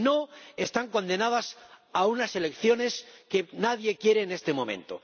Si no, están condenados a unas elecciones que nadie quiere en este momento.